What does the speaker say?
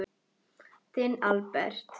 Þinn Albert.